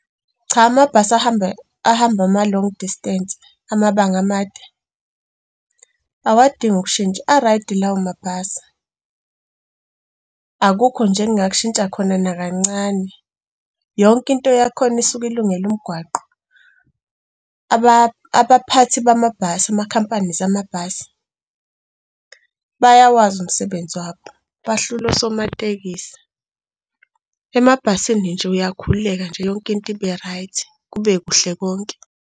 Cha amabhasi ahamba ama-long distance, amabanga amade, awadingi ukushintsha, a-right lawo mabhasi. Akukho nje engingakushintsha khona nakancane. Yonke into yakhona isuke ilungele umgwaqo. Abaphathi bamabhasi, ama-company zamabhasi, bayawazi umsebenzi wabo, bahlula osomatekisi. Emabhasini nje uyakhululeka nje yonke into ibe right kube kuhle konke.